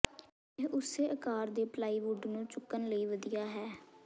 ਇਹ ਉਸੇ ਆਕਾਰ ਦੇ ਪਲਾਈਵੁੱਡ ਨੂੰ ਚੁੱਕਣ ਲਈ ਵਧੀਆ ਹੈ